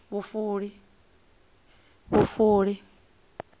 vhufuli